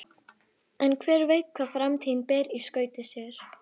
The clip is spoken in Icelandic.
En hver veit hvað framtíðin ber í skauti sér?